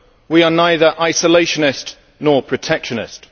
we are neither isolationist, nor protectionist.